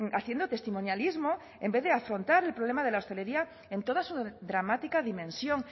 haciendo testimonialismo en vez de afrontar el problema de la hostelería en toda su dramática dimensión